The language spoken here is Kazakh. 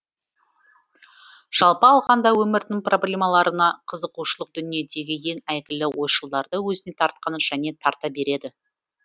жалпы алғанда өмірдің проблемаларына қызығушылық дүниедегі ең әйгілі ойшылдарды өзіне тартқан және тарта береді